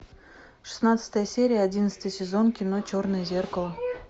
шестнадцатая серия одиннадцатый сезон кино черное зеркало